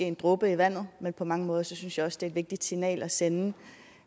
en dråbe i havet men på mange måder synes jeg også det er et vigtigt signal at sende